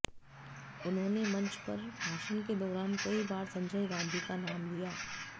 उन्होंने मंच पर भाषण के दौरान कई बार संजय गांधी का नाम लिया